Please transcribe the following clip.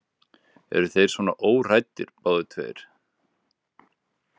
Eru þeir svona óhræddir, báðir tveir?